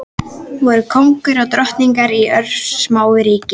Voru kóngur og drottning í örsmáu ríki.